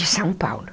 De São Paulo.